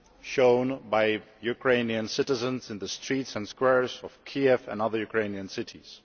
shown by Ukrainian citizens in the streets and squares of Kiev and other Ukrainian cities.